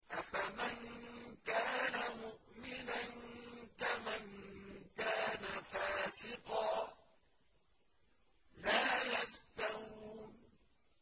أَفَمَن كَانَ مُؤْمِنًا كَمَن كَانَ فَاسِقًا ۚ لَّا يَسْتَوُونَ